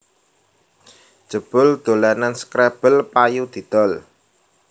Jebul dolanan scrabble payu didol